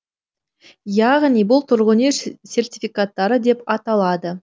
яғни бұл тұрғын үй сертификаттары деп аталады